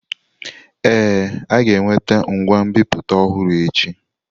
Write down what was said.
Ee, a ga-eweta ngwa nbipute ọhụrụ echi.